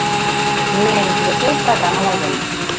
меня интересует программа лояльности